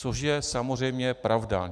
Což je samozřejmě pravda.